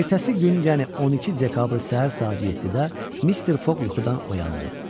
Ertəsi gün, yəni 12 dekabr səhər saat 7-də Mr. Foq yuxudan oyandı.